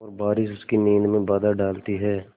और बारिश उसकी नींद में बाधा डालती है